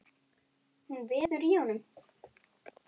Hún veður í honum.